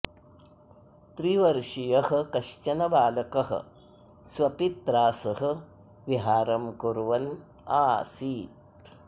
त्रिवर्षियः कश्चन बालकः स्वपित्रा सह विहारं कुर्वन् आसीत्